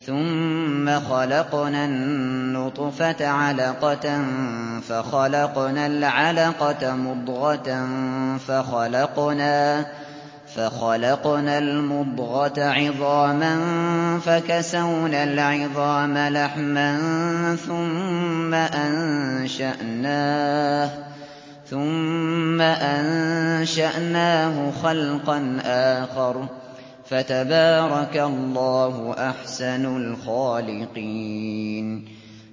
ثُمَّ خَلَقْنَا النُّطْفَةَ عَلَقَةً فَخَلَقْنَا الْعَلَقَةَ مُضْغَةً فَخَلَقْنَا الْمُضْغَةَ عِظَامًا فَكَسَوْنَا الْعِظَامَ لَحْمًا ثُمَّ أَنشَأْنَاهُ خَلْقًا آخَرَ ۚ فَتَبَارَكَ اللَّهُ أَحْسَنُ الْخَالِقِينَ